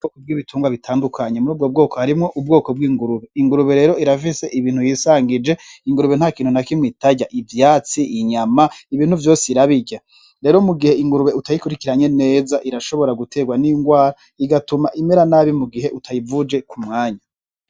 Bkubwo ibitungwa bitandukanye muri ubwo bwoko harimwo ubwoko bw'ingurube ingurube rero irafise ibintu yisangije ingurube nta kintu na kimwe itarya ivyatsi inyama ibintu vyose irabirya rero mu gihe ingurube utayikurikiranye neza irashobora guterwa n'ingwara igatuma imera nabi mu gihe utayivuje ku mwanya.